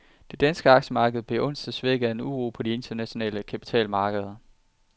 Det danske aktiemarked blev onsdag svækket af uro på de internationale kapitalmarkeder.